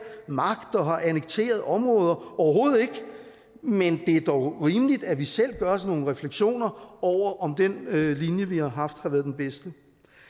magt og annekteret områder overhovedet ikke men det er dog rimeligt at vi selv gør os nogle refleksioner over om den linje vi har haft har været den bedste